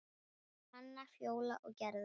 Birgir, Hanna, Fjóla og Gerður.